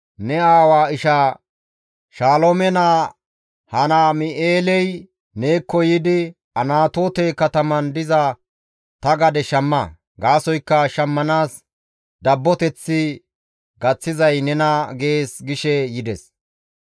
«Ne aawa ishaa Shaloome naa Hanaam7eeley neekko yiidi, ‹Anatoote kataman diza ta gadeza shamma; gaasoykka shammanaas dabboteththi gaththizay nena› gees» gishe yides.